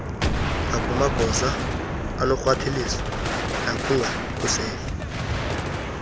ngakumagosa anorhwaphilizo nokungakhuseli